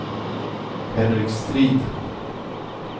Henrik Strid